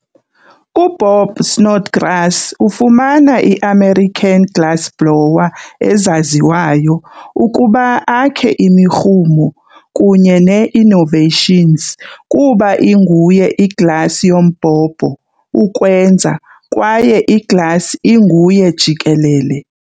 UBob Snodgrass ufumana i-American glassblower ezaziwayo ukuba akhe imirhumo kunye nee-innovations kuba inguye i-glass yombhobho-ukwenza kwaye i-glass inguye jikelele.